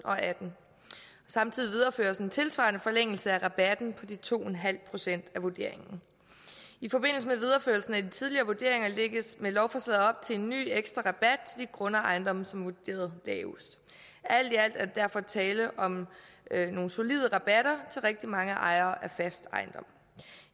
og atten samtidig videreføres en tilsvarende forlængelse af rabatten på de to en halv procent af vurderingen i forbindelse med videreførelsen af de tidligere vurderinger lægges med lovforslaget op til en ny ekstra rabat til de grunde og ejendomme som er vurderet lavest alt i alt er der derfor tale om nogle solide rabatter til rigtig mange ejere af fast ejendom